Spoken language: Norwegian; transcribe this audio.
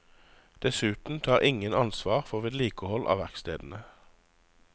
Dessuten tar ingen ansvar for vedlikehold av verkstedene.